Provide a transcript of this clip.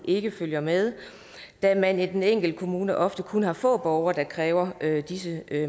ikke følger med da man i den enkelte kommune ofte kun har få borgere der kræver disse